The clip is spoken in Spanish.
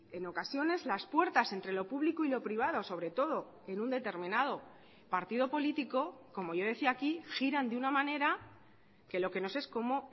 en ocasiones las puertas entre lo público y lo privado sobre todo en un determinado partido político como yo decía aquí giran de una manera que lo que no se es cómo